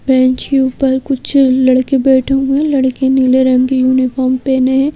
Bench के ऊपर कुछ लड़के बैठे हुए हैं लड़के नीले रंग के यूनिफॉर्म पहने हैं।